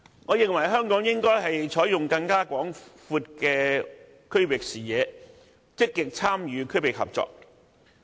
我認為香港應有更廣闊的區域視野，積極參與區域合作。